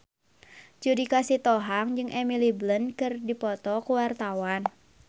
Judika Sitohang jeung Emily Blunt keur dipoto ku wartawan